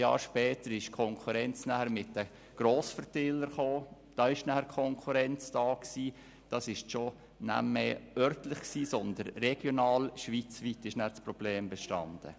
15 Jahre später kam die Konkurrenz der Grossverteiler, die lokal, regional und schweizweit ein Problem darstellte.